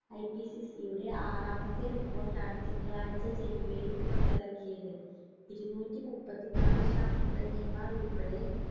IPCC യുടെ ആറാമത്തെ report ആണ് തിങ്കളാഴ്ച ജനീവയിൽ പുറത്തിറക്കിയത് ഇരുനൂറ്റിമുപ്പതിനാല് ശാസ്ത്രജ്ഞന്മാർ ഉൾപ്പടെ